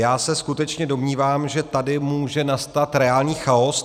Já se skutečně domnívám, že tady může nastat reálný chaos.